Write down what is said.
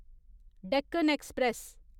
Deccan express